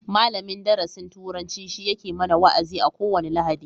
Malamin darasin turanci shi yake mana wa'azi a ko wani lahadi